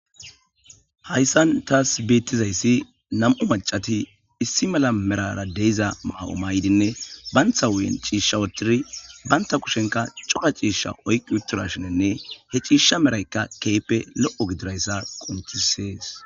hayssan taas beettizayssi nam7u macati issi mala merara deiza maa7o maydinne bayntha wuyen ciishsha wotiri baynta kushenka coqa ciishsha oyqi utturashinenne he ciisha meraykka keype lo7o gidirayssa qoncisees